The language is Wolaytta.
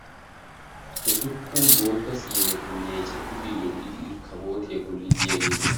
Ussuppun bootta sineeti meecetid lo"idi irkkabootiya bolli diyaageeta